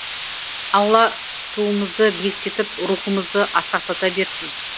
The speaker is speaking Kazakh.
алла туымызды биіктетіп рухымызды асқақтата берсін